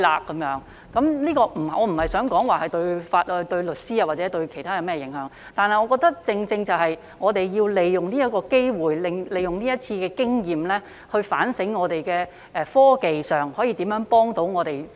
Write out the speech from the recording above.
我並非想說這樣對律師或其他有甚麼影響，但我認為我們要好好利用這個機會和這次經驗，反省我們可如何在科技上協助提高我們的司法效率。